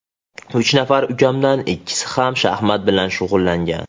Uch nafar ukamdan ikkisi ham shaxmat bilan shug‘ullangan.